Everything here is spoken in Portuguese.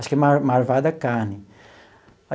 Acho que é mar Marvada Carne.